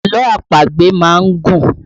Àlọ́ àpagbè má ń gùn